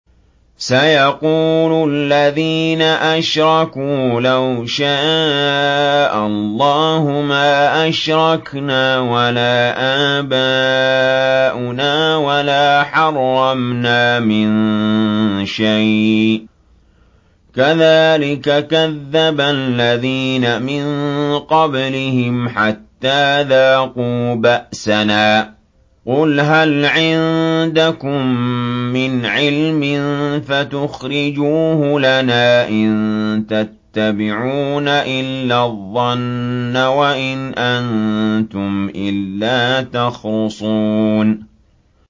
سَيَقُولُ الَّذِينَ أَشْرَكُوا لَوْ شَاءَ اللَّهُ مَا أَشْرَكْنَا وَلَا آبَاؤُنَا وَلَا حَرَّمْنَا مِن شَيْءٍ ۚ كَذَٰلِكَ كَذَّبَ الَّذِينَ مِن قَبْلِهِمْ حَتَّىٰ ذَاقُوا بَأْسَنَا ۗ قُلْ هَلْ عِندَكُم مِّنْ عِلْمٍ فَتُخْرِجُوهُ لَنَا ۖ إِن تَتَّبِعُونَ إِلَّا الظَّنَّ وَإِنْ أَنتُمْ إِلَّا تَخْرُصُونَ